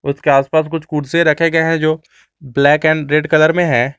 उसके आसपास कुछ कुर्सी रखे गए हैं जो ब्लैक एंड रेड कलर में है।